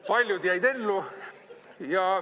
Paljud jäid ellu.